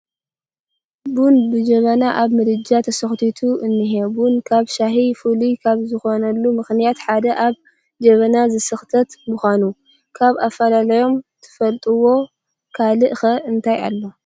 ቡን ብጀበና ኣብ ምድጃ ተሰኽቲቱ እኒሀ፡፡ ቡን ካብ ሻሂ ፍሉይ ካብ ዝኾነሉ ምኽንያታት ሓደ ኣብ ጀበና ዝስኽተት ምዃኑ፡፡ ካብ ኣፈላላዮም ትፈልጥዎ ካልእ ኸ እንታይ ኣሎ?